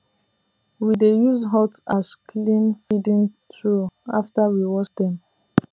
we dey use hot ash clean feeding trough after we wash dem